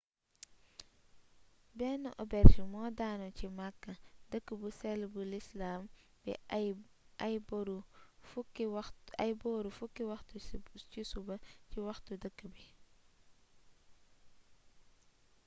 benn auberge moo daanu ca makka dëkk bu séll bu lislaam bi ay boru 10 waxtu ci suba ci waxtu dëkk bi